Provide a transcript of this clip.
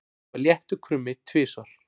Það var léttur krummi tvisvar.